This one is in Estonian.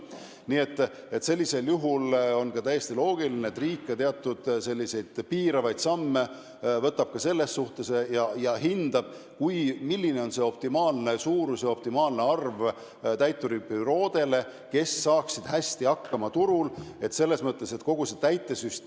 Nii et on ka täiesti loogiline, et riik teeb teatud piiravaid samme ja hindab, milline on optimaalne täituribüroode arv, et nad saaksid turul hästi hakkama.